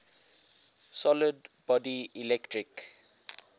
solid body electric